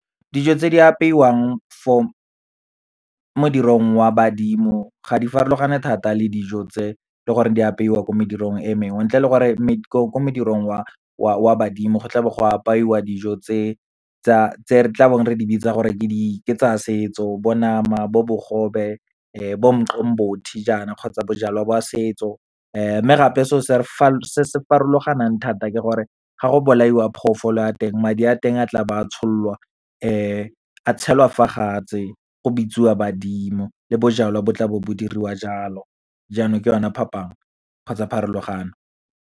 Dijo tse di apeiwang mo modirong wa badimo, ga di farologane thata le dijo tse le gore di apeiwa ko medirong e mengwe, ntle le gore ko modirong wa badimo, go tlabo go apaiwa dijo tse re tlabeng re di bitsa gore ke tsa setso, bo nama, bo bogobe, bo umqombothi jaana kgotsa bojalwa ba setso. Mme gape, se se farologaneng thata ke gore, ga go bolaiwa phoofolo ya teng, madi a teng a tla bo a tshololwa, a tshelwa fa go bitswa badimo, le bojalwa bo tlabo bo diriwa jalo, jaanong ke yona phapang kgotsa pharologano.